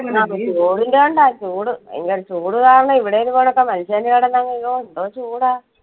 ആ ചൂടിന്റെ കൊണ്ട്, ആ ചൂട് ഭയങ്കര ചൂട് കാരണം ഇവിടെ അങ്ങ് അയ്യോ എന്തോ ചൂടാ.